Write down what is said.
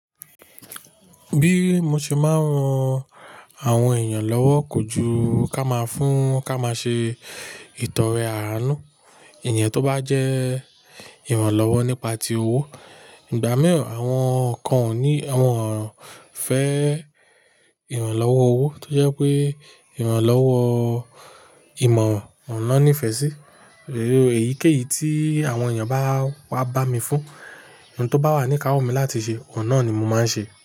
Bí mo ṣe máa ń ran àwọn èèyàn lọ́wọ́ kò ju ká máa fún ká máa ṣe ìtọrẹ àánú. Ìyẹn tó bá jẹ́ ìrànlọ́wọ́ nípa ti owó. Ìgbà mìíràn àwọn kan ò ní, wọn fẹ́ ìrànlọ́wọ́ owó, tó jẹ́ pé ìrànlọ́wọ́ ìmọ̀ran ni wọn nífẹ̀ẹ́ sí. Èyíkéyìí tí àwọn èèyàn bá wá bá mi fún ohun tó bá wà ní ikáwọ́ mi láti ṣe, ọ̀un nà ni mo máa ń ṣe.